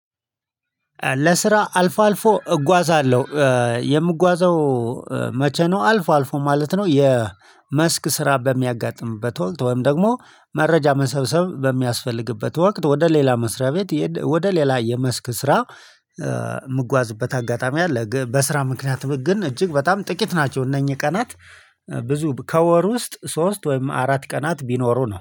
ለስራ አልፎ አልፎ እጓዛለሁ የምጓዘው መቼ ነው አልፎ አልፎ ማለት ነው። የመስክ ስራ በሚያጋጥምበት ወቅት ወይም ደግሞ መረጃ መሰብሰብ በሚያስፈልግበት ወቅት ወደ ሌላ መስሪያ ቤት ወደ ሌላ የመስክ ስራ የምጓዝበት አጋጣሚ አለ። በስራ ምክንያት ግን እጅግ በጣም ጥቂት ናቸው እነኚህ ቀናት ብዙ ከወር ውስጥ ሶስት ወይም አራት ቀናት ቢኖሩ ነው